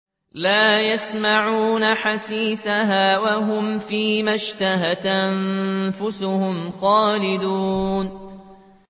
لَا يَسْمَعُونَ حَسِيسَهَا ۖ وَهُمْ فِي مَا اشْتَهَتْ أَنفُسُهُمْ خَالِدُونَ